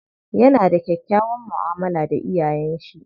Yana da kyakkyawan mu'amala da iyayen shi.